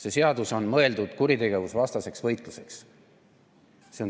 See seadus on mõeldud kuritegevusvastaseks võitluseks.